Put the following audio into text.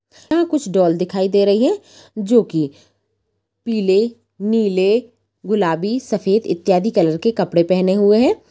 यहाँ कुछ डॉल दिखाई दे रही है जो की पील नील गुलाबी सफेद इत्यादि कलर के कपड़े पहने हुए हैं।